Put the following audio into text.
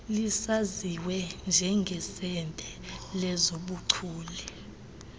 lisaziwe njengesebe lezobuchule